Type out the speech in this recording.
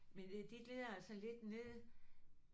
Men det de glider altså lidt ned